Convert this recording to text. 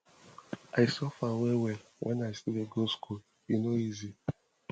i suffer wellwell wen i still dey go skool e no easy